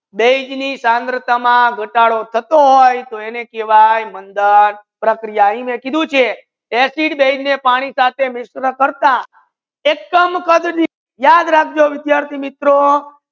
બાઝે ની થરંગાથા માં ગાતાડો થટો હોય તો એને કેહવાયે મંધન એ માઇ કીધુ છે acid બાઝે ને પાની સાથે mix કરતા યાદ રાખો વિદ્યાર્થી મિત્રો